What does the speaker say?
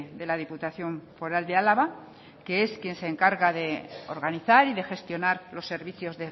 de la diputación foral de álava que es quien se encarga de organizar y de gestionar los servicios